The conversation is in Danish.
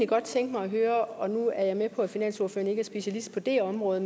godt tænke mig at høre og nu er jeg med på at finansordføreren ikke er specialist på det område